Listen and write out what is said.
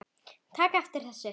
taka eftir þessu